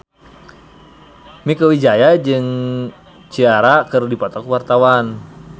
Mieke Wijaya jeung Ciara keur dipoto ku wartawan